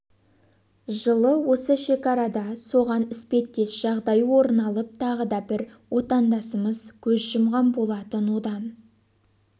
жылы осы шекарада соған іспеттес жағдай орын алып тағы да бір отандасымыз көз жұмған болатын одан